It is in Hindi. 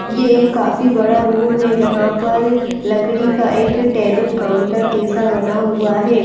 यह एक काफी बड़ा रूम है जहाँ पर लकड़ी का एक टेबल काउंटर जैसा बना हुआ है।